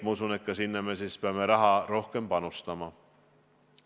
Ma usun, et peame sinna nüüd raha rohkem panustama.